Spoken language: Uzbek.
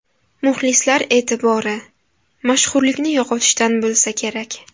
Muxlislar e’tibori, mashhurlikni yo‘qotishdan bo‘lsa kerak.